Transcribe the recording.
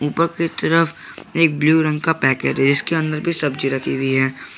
उपर की तरफ एक ब्लू रंग का पैकेट है इसके अंदर भी सब्जी रखी हुई है।